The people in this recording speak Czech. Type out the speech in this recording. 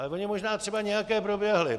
Ale ony možná třeba nějaké proběhly.